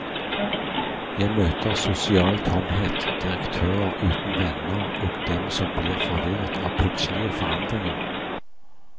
Jeg møter sosial tomhet, direktører uten venner og dem som blir forvirret av plutselige forandringer.